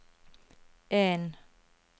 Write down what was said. en